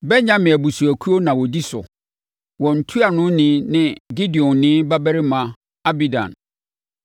Benyamin abusuakuo na wɔdi so. Wɔn ntuanoni ne Gideoni babarima Abidan.